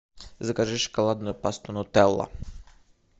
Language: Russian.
закажи шоколадную пасту нутелла